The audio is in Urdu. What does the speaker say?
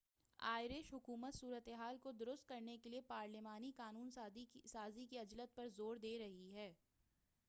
آئرش حکومت صورتحال کو درست کرنے کے لیے پارلیمانی قانون سازی کی عجلت پر زور دے رہی ہے